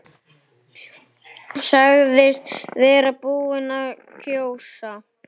Sagðist vera búinn að kjósa.